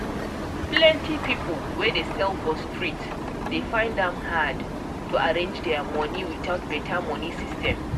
plenty people wey dey sell for street dey find am hard to arrange their money without better money system.